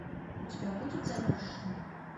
у тебя будет замерзшие